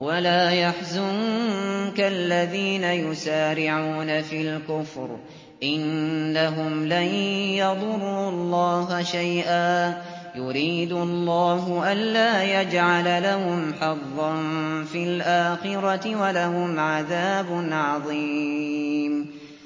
وَلَا يَحْزُنكَ الَّذِينَ يُسَارِعُونَ فِي الْكُفْرِ ۚ إِنَّهُمْ لَن يَضُرُّوا اللَّهَ شَيْئًا ۗ يُرِيدُ اللَّهُ أَلَّا يَجْعَلَ لَهُمْ حَظًّا فِي الْآخِرَةِ ۖ وَلَهُمْ عَذَابٌ عَظِيمٌ